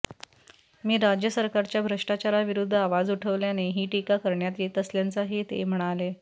मी राज्य सरकारच्या भ्रष्टाचाराविरुद्ध आवाज उठवल्याने ही टीका करण्यात येत असल्याचंही ते म्हणाले